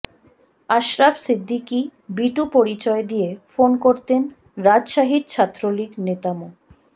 আশরাফ সিদ্দিকী বিটু পরিচয় দিয়ে ফোন করতেন রাজশাহীর ছাত্রলীগ নেতা মো